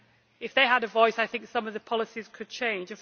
If they had a voice, I think some of the policies could change.